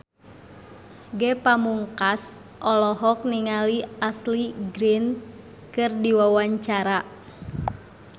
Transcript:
Ge Pamungkas olohok ningali Ashley Greene keur diwawancara